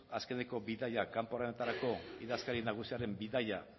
azkeneko bidaiak kanpo honetarako idazkari nagusiaren bidaia